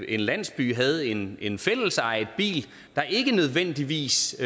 en landsby havde en en fællesejet bil der ikke nødvendigvis